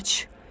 Qaç!